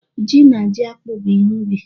Ji na ji akpụ bụ ihe ubi.